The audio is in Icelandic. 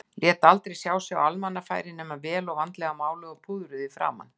Lét aldrei sjá sig á almannafæri nema vel og vandlega máluð og púðruð í framan.